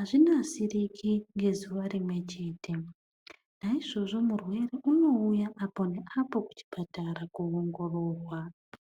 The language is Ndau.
azvinasiriki ngezuwa rimwechete. Naizvozvo murwere unouya apo neapo muchipatara kowongororwa.